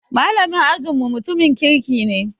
Malamin ajin mu mutumin kirki ne